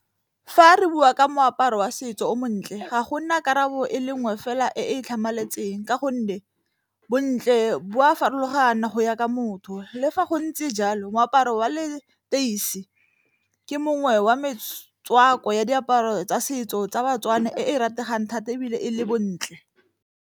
Fa re bua ka moaparo wa setso o montle ga gona karabo e le nngwe fela e e tlhamaletseng, ka gonne bontle bo a farologana go ya ka motho. Le fa go ntse jalo moaparo wa leteisi ke mongwe wa metswako ya diaparo tsa setso tsa baTswana e e rategang thata, ebile e le bontle.